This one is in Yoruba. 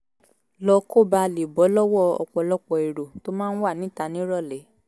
lọ kó bàa lè bọ́ lọ́wọ́ ọ̀pọ̀lọpọ̀ èrò tó máa ń wà níta nírọ̀lẹ́